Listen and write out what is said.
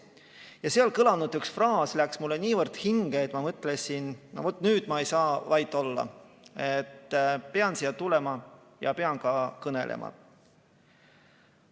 Ja seal kõlanud üks fraas läks mulle niivõrd hinge, et ma mõtlesin, no vaat nüüd ma ei saa vait olla, pean siia tulema ja pean ka kõnelema.